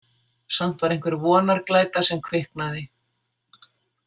Samt var einhver vonarglæta sem kviknaði.